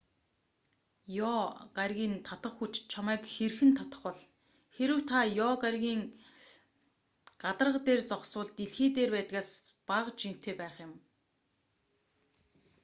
ёо гарагийн татах хүч чамайг хэрхэн татах бол хэрэв та ёо гарагийн гадарга дээр зогсвол дэлхий дээр байдгаас бага жинтэй байх юм